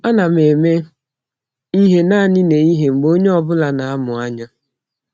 Ana m eme ihe naanị nehihie mgbe onye ọ bụla na-amụ anya.